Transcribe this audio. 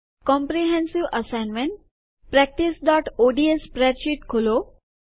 comprehensive assignment practice ODS spreadsheet ખોલો